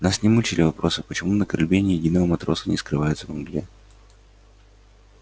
нас не мучили вопросы почему на корабле ни единого матроса не скрывается во мгле